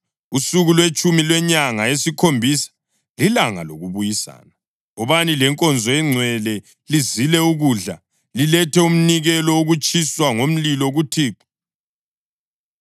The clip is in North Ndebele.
“Usuku lwetshumi lwenyanga yesikhombisa lilanga lokubuyisana. Wobani lenkonzo engcwele lizile ukudla, lilethe umnikelo wokutshiswa ngomlilo kuThixo.